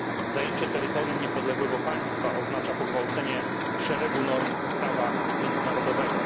Zajęcie terytorium niepodległego państwa oznacza pogwałcenie szeregu norm prawa międzynarodowego.